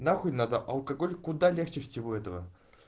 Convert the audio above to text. нахуй надо алкоголь куда легче всего этого